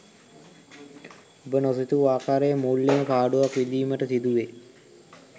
ඔබ නොසිතූ ආකාරයේ මූල්‍යමය පාඩුවක් විඳීමට සිදුවේ